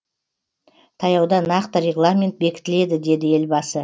таяуда нақты регламент бекітіледі деді елбасы